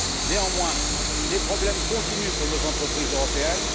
Néanmoins, les problèmes continuent pour nos entreprises européennes.